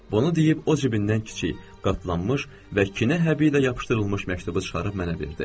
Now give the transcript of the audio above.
Bunu deyib o cibindən kiçik, qatlanmış və kinə həbilə yapışdırılmış məktubu çıxarıb mənə verdi.